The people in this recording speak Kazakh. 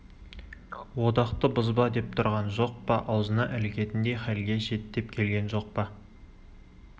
одақты бұзба деп тұрған жоқ па аузына ілігетіндей хәлге жет деп келген жоқ па